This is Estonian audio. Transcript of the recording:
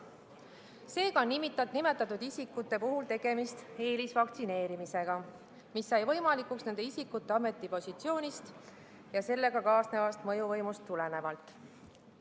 Seega on nimetatud isikute puhul tegemist eelisvaktsineerimisega, mis sai võimalikuks nende isikute ametipositsioonist ja sellega kaasnevast mõjuvõimust tulenevalt.